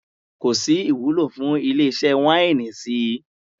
Kò sí ìwúlò fún ilé-iṣẹ́ wáínì sí i.